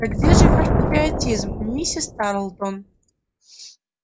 да где же ваш патриотизм миссис тарлтон